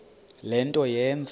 le nto yenze